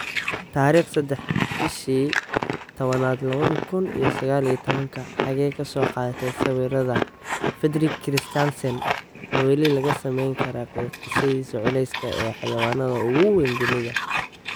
Tarikh sadex bishi tawanad lawadhi kun iyo saqal iyo towan Xagee ka soo qaatay sawirada, Fredrik Christiansen Ma weli laga sameyn karaa qiyaasida culeyska ee xayawaanka ugu weyn dunida?